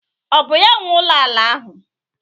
Ọ bụ ya nwe ụlọ ala ahụ?